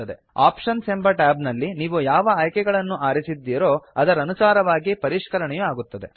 options ಎಂಬ tab ನಲ್ಲಿ ನೀವು ಯಾವ ಆಯ್ಕೆಗಳನ್ನು ಆರಿಸಿದ್ದೀರೋ ಅದರನುಸಾರವಾಗಿ ಪರಿಷ್ಕರಣೆಯು ಆಗುತ್ತದೆ